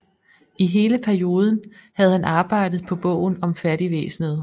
I hele perioden havde han arbejdet på bogen om fattigvæsenet